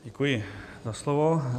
Děkuji za slovo.